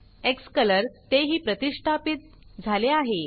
क्सकलर तेही प्रतिष्ठापीत झाले आहे